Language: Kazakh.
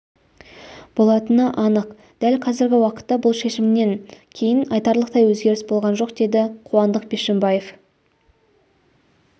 болатыны анық дәл қазіргі уақытта бұл шешімнен кейін айтарлықтай өзгеріс болған жоқ деді қуандық бишімбаев